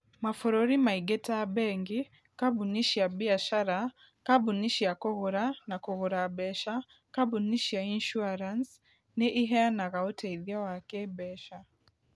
Mabũrũri maingĩ ta bengi, kambuni cia biacara, kambuni cia kũgũra na kũgũra mbeca, kambuni cia insurance, nĩ iheanaga ũteithio wa kĩĩmbeca.